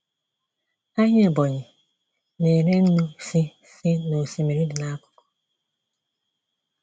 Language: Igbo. Ahịa Ebonyi na-ere nnu si si n'osimiri dị n'akuku.